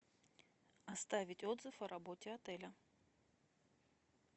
оставить отзыв о работе отеля